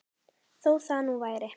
Þó það nú væri!